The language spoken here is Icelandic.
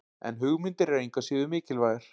En hugmyndir eru engu að síður mikilvægar.